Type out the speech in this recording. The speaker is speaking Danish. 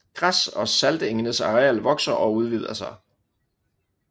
Græs og saltengenes areal vokser og udvider sig